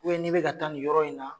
u bɛ ni be taa ni yɔrɔ in na